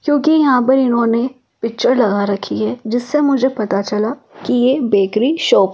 क्योंकि यहां पर इन्होंने पिक्चर लगा रखी है जिससे मुझे पता चला कि ये बेकरी शॉप --